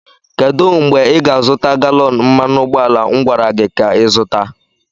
kedụ mgbe ị ga-azụta galọn mmanụ ụgbọala m gwara gị ka zụta?